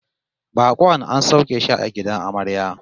Bakon an sauke shi a gidan amarya